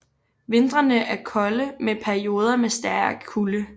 Vintrene er kolde med perioder med stærk kulde